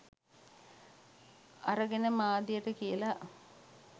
අරගෙන මාධ්‍යයට කියලා